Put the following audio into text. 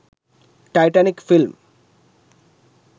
titanic film